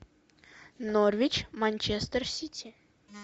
норвич манчестер сити